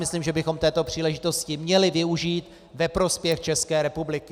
Myslím, že bychom této příležitosti měli využít ve prospěch České republiky.